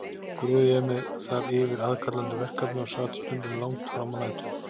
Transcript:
Grúfði ég mig þar yfir aðkallandi verkefni og sat stundum langt frammá nætur.